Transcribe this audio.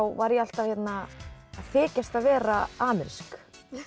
var ég alltaf að þykjast vera amerísk